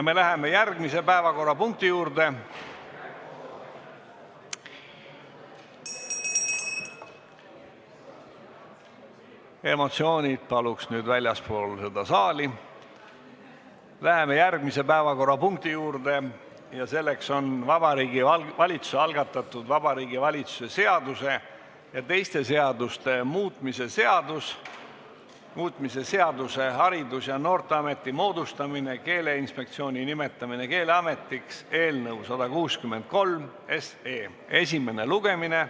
Läheme järgmise päevakorrapunkti juurde: Vabariigi Valitsuse algatatud Vabariigi Valitsuse seaduse ja teiste seaduste muutmise seaduse eelnõu 163 esimene lugemine.